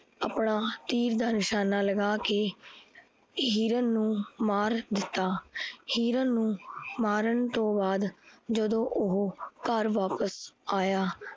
ਆਪਣਾ ਤੀਰ ਦਾ ਨਿਸ਼ਾਨਾ ਲੱਗਾ ਕੇ ਹਿਰਨ ਨੂ ਮਾਰ ਦਿੱਤਾ ਹਿਰਨ ਨੂ ਮਾਰਨ ਤੋਂ ਬਾਦ ਜਦੋਂ ਓਹੋ ਘਰ ਵਾਪਿਸ ਆਇਆ